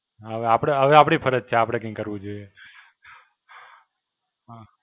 હવે આપડે, હવે આપડી ફરજ છે આપડે કઈ કરવું જોઈએ. હાં.